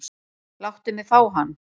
Láttu mig fá hann.